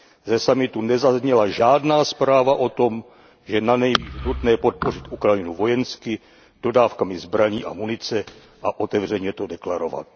Ze summitu nezazněla žádná zpráva o tom, že je nanejvýš nutné podpořit Ukrajinu vojensky dodávkami zbraní a munice a otevřeně to deklarovat.